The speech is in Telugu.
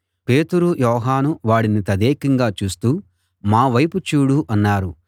పేతురు యోహాను వాడిని తదేకంగా చూస్తూ మా వైపు చూడు అన్నారు